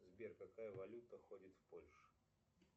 сбер какая валюта ходит в польше